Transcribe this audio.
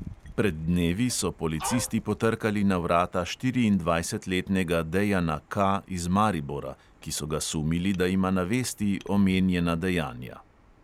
Pred dnevi so policisti potrkali na vrata štiriindvajsetletnega dejana K iz maribora, ki so ga sumili, da ima na vesti omenjena dejanja.